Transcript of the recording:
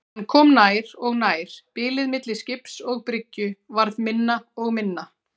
Hann kom nær og nær, bilið milli skips og bryggju varð minna og minna.